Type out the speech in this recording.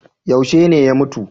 Yaushe ne ya mutu?